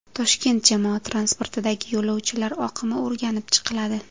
Toshkent jamoat transportidagi yo‘lovchilar oqimi o‘rganib chiqiladi.